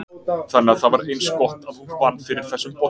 Þannig að það var eins gott að hún vann fyrir þessum bolla.